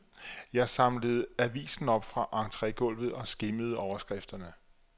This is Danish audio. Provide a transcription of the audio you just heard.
Jeg samlede avisen op fra entregulvet og skimmede overskrifterne.